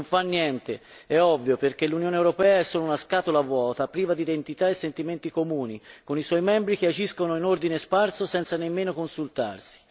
Non fa niente, è ovvio, perché l'Unione europea è solo una scatola vuota, priva di identità e sentimenti comuni, con i suoi membri che agiscono in ordine sparso, senza nemmeno consultarsi.